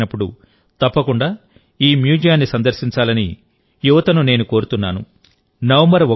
సమయం దొరికినప్పుడు తప్పకుండా ఈ మ్యూజియాన్ని సందర్శించాలని యువతను నేను కోరుతున్నాను